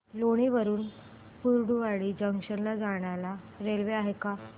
लोणी वरून कुर्डुवाडी जंक्शन ला जायला रेल्वे आहे का